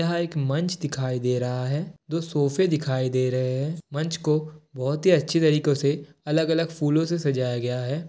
यहाँ एक मंच दिखाई दे रहा है। दो सोफे दिखाई दे रहे हैं। मंच को बहुत ही अच्छी तरीकों से अलग-अलग फूलो से सजाया गया है।